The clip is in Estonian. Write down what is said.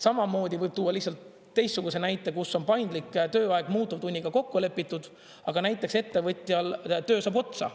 Samamoodi võib tuua teistsuguse näite, kus on paindlik tööaeg muutuvtunniga kokku lepitud, aga näiteks ettevõtjal töö saab otsa.